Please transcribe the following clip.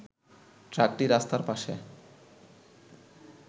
ট্রাকটি রাস্তার পাশে